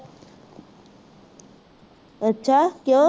ਅੱਛਾ ਕਿਉਂ